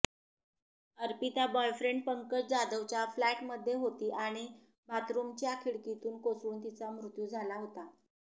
Arpita boyfriend Pankaj जाधवच्या फ्लॅटमध्ये होती आणि बाथरुमच्या खिडकीतून कोसळून तिचा मृत्यू झाला होता